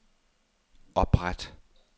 opret